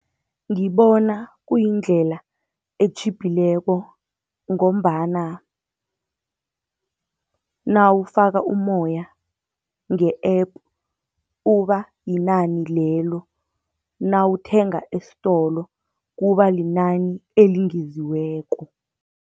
Ngibona kuyindlela etjhibhileko, ngombana nawufaka umoya nge-app, uba yinani lelo, nawuthenga estolo kuba linani elingeziweko.